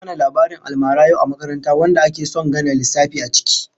An yi mana labarin almara yau a makaranta wanda ake son gane lissafi a ciki